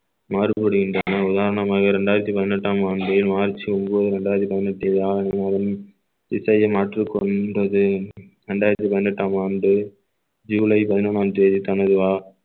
மருத்துவரீதியான உதாரணமாக இரண்டாயிரத்தி பதினெட்டாம் ஆண்டு மார்ச் ஒன்பது இரண்டாயிரத்தி பதினெட்டு ஆடி மாதம் இசையை மாற்றிக் கொண்டது இரண்டாயிரத்தி பதினெட்டாம் ஆண்டு ஜூலை பதினொன்றாம் தேதி தனது அ~